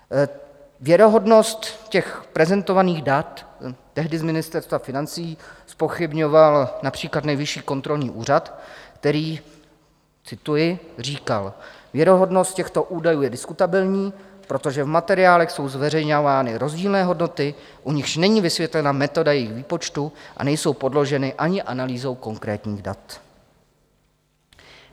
Věrohodnost těch prezentovaných dat tehdy z Ministerstva financí zpochybňoval například Nejvyšší kontrolní úřad, který - cituji - říkal: Věrohodnost těchto údajů je diskutabilní, protože v materiálech jsou zveřejňovány rozdílné hodnoty, u nichž není vysvětlena metoda jejich výpočtu a nejsou podloženy ani analýzou konkrétních dat.